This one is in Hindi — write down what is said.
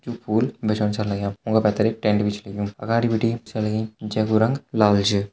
यू फूल बेचंण छन लग्याँ ऊँका पैथर एक टेंट भी च लग्युँ अगाड़ी बिटी सै लगीं जैकु रंग लाल छ।